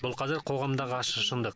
бұл қазір қоғамдағы ащы шындық